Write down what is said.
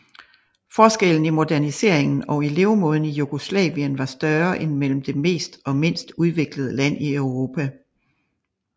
Forskellen i moderniseringen og i levemåden i Jugoslavien var større end mellem det mest og mindst udviklede land i Europa